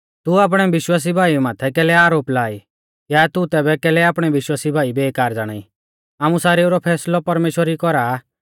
तू आपणै विश्वासी भाई माथै कैलै आरोप ला ई या तू तैबै कैलै आपणै विश्वासी भाई बेकार ज़ाणाई आमु सारेऊ रौ फैसलौ परमेश्‍वर ई कौरा आ